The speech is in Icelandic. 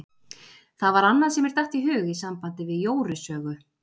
Það var annað sem mér datt í hug í sambandi við Jóru sögu.